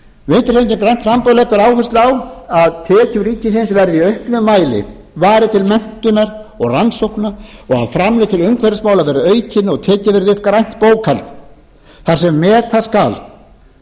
framboð leggur áherslu á að tekjur ríkisins verði í auknum mæli varið til menntunar og rannsókna og framlög til umhverfismála verði aukin og tekið verði upp grænt bókhald þar sem meta skal út frá þeim